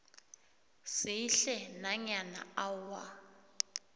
sihle nanyana awa